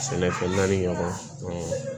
Sɛnɛfɛn naani ɲɔgɔn